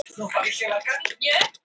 Þetta afbrigði þekkingar er ótryggast.